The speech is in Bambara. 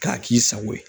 K'a k'i sago ye